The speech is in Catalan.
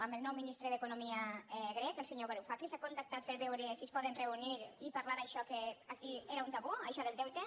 amb el nou ministre d’economia grec el senyor varufakis hi ha contactat per veure si es poden reunir i parlar d’això que aquí era un tabú això del deute